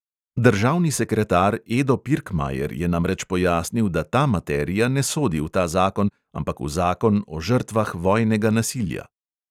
Državni sekretar edo pirkmajer je namreč pojasnil, da ta materija ne sodi v ta zakon, ampak v zakon o žrtvah vojnega nasilja.